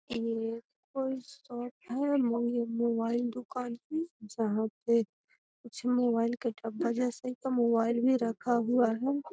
ये कोई शॉप है मगे मोबाइल दुकान जहां पे कुछ मोबाइल के डब्बे जैसा क्या मोबाइल भी रखा हुआ है।